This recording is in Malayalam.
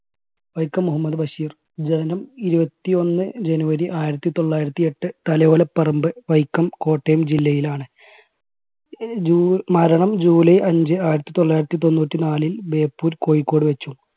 വൈക്കം മുഹമ്മദ് ബഷീർ ജനനം ഇരുപത്തിഒന്ന് january ആയിരത്തി തൊള്ളായിരത്തി എട്ട് തലയോലപ്പറമ്പ് വൈക്കം കോട്ടയം ജില്ലയിലാണ്. അഹ് ജൂ മരണം july അഞ്ച്, ആയിരത്തി തൊള്ളായിരത്തി തൊണ്ണൂറ്റി നാലിൽ ബേപ്പൂർ കോഴിക്കോട് വെച്ചും